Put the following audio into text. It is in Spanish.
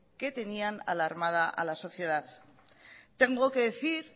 que tenían alarmada a la sociedad tengo que decir